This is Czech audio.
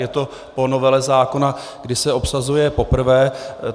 Je to po novele zákona, kdy se obsazuje poprvé.